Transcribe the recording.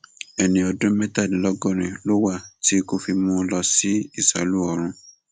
ẹni ọdún mẹtàdínlọgọrin ló wà tí ikú fi mú un lọ sí ìsálú ọrun